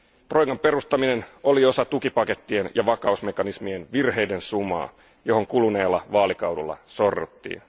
Troikan perustaminen oli osa tukipakettien ja vakausmekanismien virheiden sumaa, johon kuluneella vaalikaudella sorruttiin.